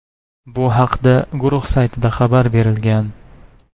Bu haqda guruh saytida xabar berilgan .